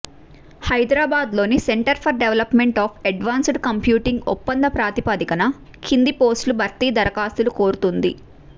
హైదరాబాద్లోని centre for development of advanced computing ఒప్పంద ప్రాతిపదికన కింది పోస్టుల భర్తీకి దరఖాస్తులు కోరుతోంది